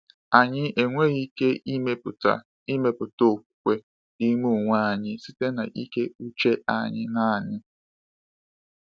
Anyị enweghị ike ịmepụta ịmepụta okwukwe n’ime onwe anyị site na ike uche anyị naanị.